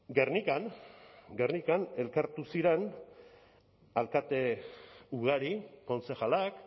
gernikan elkartu ziren alkate ugari kontzejalak